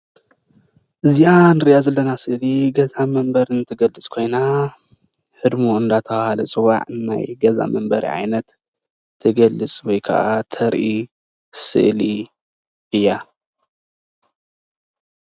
እዚአ ንሪአ ዘለና ስእሊ ገዛ ንመንበሪ ትገልፅ ኮይና ህድሞ እናተባሃለ ዝፅዋዕ ናይ ገዛ መንበሪ ዓይነት ትገልፅ ወይ ከዓ ተርኢ ስእሊ እያ።